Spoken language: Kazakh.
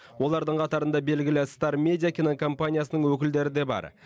олардың қатарында белгілі стар медия кинокомпаниясының өкілдері де бар